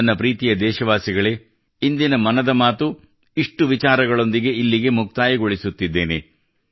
ನನ್ನ ಪ್ರೀತಿಯ ದೇಶವಾಸಿಗಳೇ ಇಂದಿನ ಮನದ ಮಾತು ಇಷ್ಟು ವಿಚಾರಗಳೊಂದಿಗೆ ಇಲ್ಲಿಗೆ ಮುಕ್ತಾಯಗೊಳಿಸುತ್ತಿದ್ದೇನೆ